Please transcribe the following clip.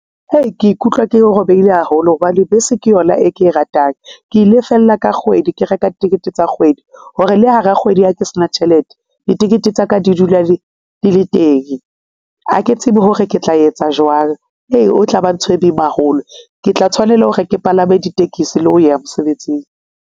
Hei, ke ikutlwa ke robehile haholo hobane bese ke yona e ke e ratang. Ke lefella ka kgwedi, ke reka tikete tsa kgwedi hore le hara kgwedi ha ke s'na tjhelete. Ditikete tsa ka di di dula di le teng. Ha ke tsebe hore ke tla etsa jwang ee, o tlaba ntho e boima haholo. Ke tla tshwanela hore ke palame ditekesi le ho ya mosebetsing.